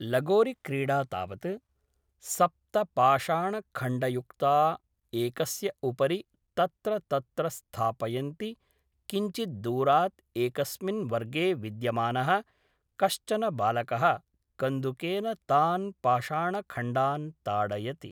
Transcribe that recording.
लगोरिक्रीडा तावत् सप्तपाशाणखण्डयुक्ता एकस्य उपरि तत्र तत्र स्थापयन्ति किञ्चिद्दूरात् एकस्मिन् वर्गे विद्यमानः कश्चन बालकः कन्दुकेन तान् पाषाणखण्डान् ताडयति